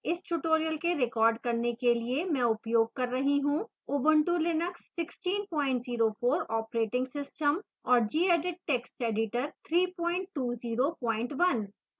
इस tutorial के record करने के लिए मैं उपयोग कर रही हूँ